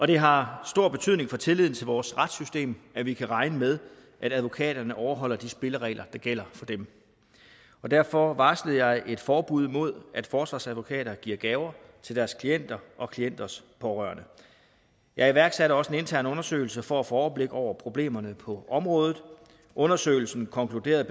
det har stor betydning for tilliden til vores retssystem at vi kan regne med at advokaterne overholder de spilleregler der gælder for dem derfor varslede jeg et forbud mod at forsvarsadvokater giver gaver til deres klienter og klienters pårørende jeg iværksatte også en intern undersøgelse for at få overblik over problemerne på området undersøgelsen konkluderede